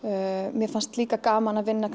mér fannst líka gaman að vinna